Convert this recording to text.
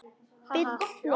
Bill hló.